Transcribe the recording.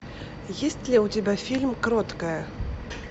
есть ли у тебя фильм кроткая